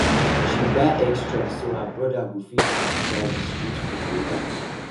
she buy extra so her brother go fit try the street food later